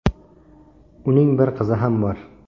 Uning bir qizi ham bor.